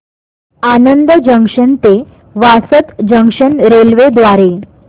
Anand junction ते Vasad junction railway द्वारे